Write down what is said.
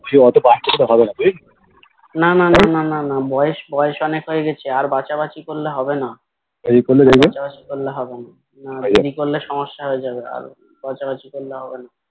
বুঝলি ওতো বাচাবাচি তো করা যাাাবে বুজলি